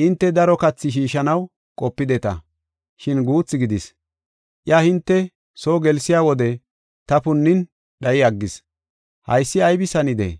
Hinte daro kathi shiishanaw qopideta, shin guutha gidis. Iya hinte soo gelsiya wode ta punnin dhayi aggis. Haysi aybis hanidee?